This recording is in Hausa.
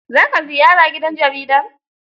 Za ka ziyara gidan jaridar?